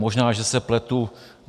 Možná že se pletu.